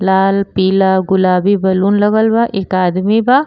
लाला पीला गुलाबी बैलून लागल बा। एक आदमी बा।